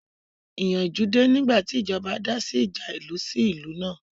Ìyanjú dé nígbàtí ìjọba dá sí ìjà ìlú sí ìlú náà